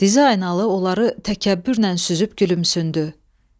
Diz aynalı onları təkəbbürlə süzüb gülümsündü.